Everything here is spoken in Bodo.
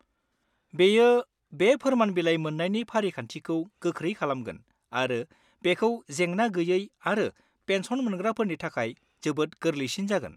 बेयो बे फोरमान बिलाइ मोननायनि फारिखान्थिखौ गोख्रै खालामगोन आरो बेखौ जेंना-गैयै आरो पेन्सन मोनग्राफोरनि थाखाय जोबोद गोरलैसिन जागोन।